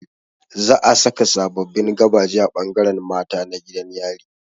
Zaa saka sababbin gabaje a ɓangaren mata na gidan yari